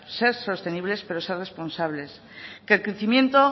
ser sostenibles pero ser responsables que el crecimiento